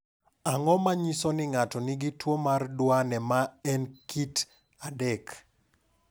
Ang’o ma nyiso ni ng’ato nigi tuwo mar Duane ma en kit 3?